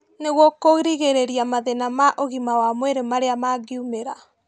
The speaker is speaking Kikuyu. Nĩguo kũrigĩrĩria mathĩna ma ũgima wa mwĩrĩ marĩa mangĩumĩra